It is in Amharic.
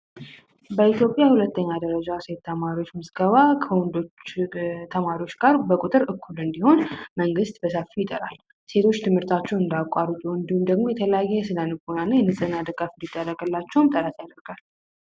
በኢትዮጵያ ሁለተኛ ደረጃ ሴት ተማሪዎች ምዝገባ ከወንዶች ተማሪዎች ጋር በቁጥር እኩል እንዲሆን መንግስት በሰፊው ጥረት ያደርጋል። ሴቶች ትምህርታቸውን እንዳያቋርጡ ወይም ደግሞ የተለያየ የስነልቦናና የንጽህና ድጋፍ እንዲደረግላቸው ጥረት ያደርጋል።